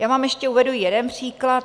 Já vám ještě uvedu jeden příklad.